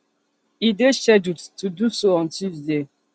e dey scheduled to do so on tuesday